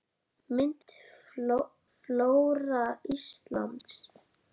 Mynd: Flóra Íslands